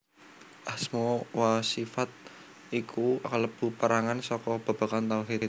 Asma wa sifat iku kalebu perangan saka babagan tauhid